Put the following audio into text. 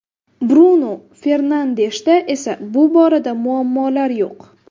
Brunu Fernandeshda esa bu borada muammolar yo‘q.